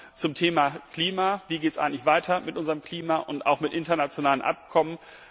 Aber zum Thema Klima wie geht es eigentlich weiter mit unserem Klima und auch mit internationalen Abkommen?